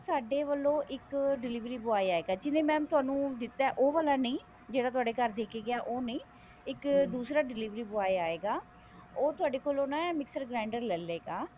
ਸਾਡੇ ਵੱਲੋਂ ਇੱਕ delivery boy ਆਇਗਾ ਜਿਹਨੇ mam ਤੁਹਾਨੂੰ ਦਿੱਤਾ ਉਹ ਵਾਲਾ ਨੀ ਜਿਹੜਾ ਤੁਹਾਡੇ ਘਰ ਦੇਕੇ ਗਿਆ ਉਹ ਨੀ ਇੱਕ ਦੁਰਾ delivery boy ਆਇਗਾ ਉਹ ਤੁਹਾਡੇ ਕੋਲੋਂ ਨਾ mixer grinder ਲੇਲੇਗਾ